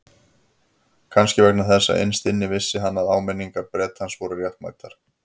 Kannski vegna þess að innst inni vissi hann að áminningar Bretans voru réttmætar.